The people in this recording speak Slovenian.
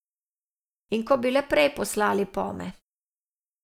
Ko bi le prej poslali pome.